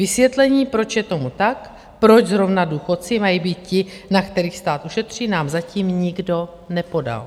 Vysvětlení, proč je tomu tak, proč zrovna důchodci mají být ti, na kterých stát ušetří, nám zatím nikdo nepodal.